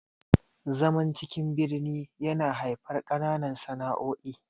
zaman cikin birnin yana haifar kananan sana'o'i